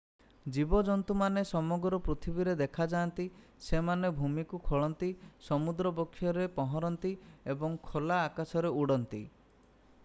ଜୀବଜନ୍ତୁମାନେ ସମଗ୍ର ପୃଥିବୀରେ ଦେଖାଯାଆନ୍ତି ସେମାନେ ଭୂମିକୁ ଖୋଳନ୍ତି ସମୁଦ୍ର ବକ୍ଷରେ ପହଁରନ୍ତି ଏବଂ ଖୋଲା ଆକାଶରେ ଉଡ଼ନ୍ତି